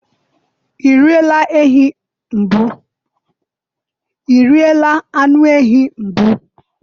i riela anụ ehi mbụ?